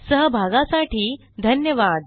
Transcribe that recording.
सहभागासाठी धन्यवाद